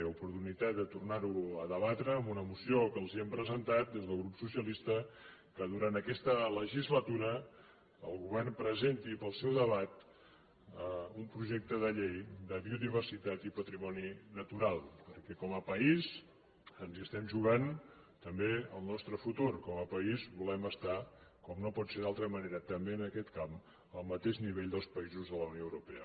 l’oportunitat de tornar ho a debatre amb una moció que els hem presentat des del grup socialista que durant aquesta legislatura el govern presenti per al seu debat un projecte de llei de biodiversitat i patrimoni natural perquè com a país ens hi estem jugant també el nostre futur com a país volem estar com no pot ser d’altra manera també en aquest camp al mateix nivell dels països de la unió europea